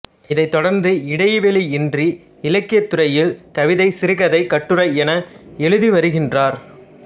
இதைத் தொடர்ந்து இடைவெளியின்றி இலக்கியத்துறையில் கவிதை சிறுகதை கட்டுரை என எழுதிவருகின்றார்